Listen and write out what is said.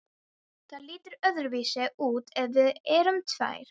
Það lítur öðruvísi út ef við erum tvær.